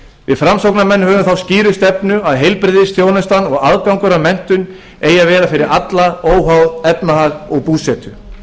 við framsóknarmenn höfum þá sínu stefnu að heilbrigðisþjónustan og aðgangur að menntun eigi að vera fyrir alla óháð efnahag stöðu og búsetu